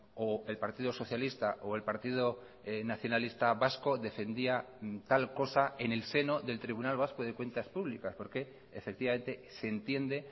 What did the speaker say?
o el partido socialista o el partido nacionalista vasco defendía tal cosa en el seno del tribunal vasco de cuentas públicas porque efectivamente se entiende